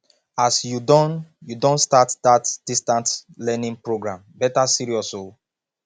as you don you don start dat distance learning program better serious o